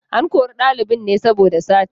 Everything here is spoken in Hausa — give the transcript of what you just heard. An kori ɗalibin ne saboda sata.